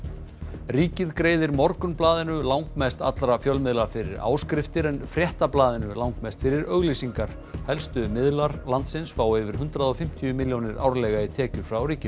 ríkið greiðir Morgunblaðinu langmest allra fjölmiðla fyrir áskriftir en Fréttablaðinu langmest fyrir auglýsingar helstu miðlar landsins fá yfir hundrað og fimmtíu milljónir árlega í tekjur frá ríkinu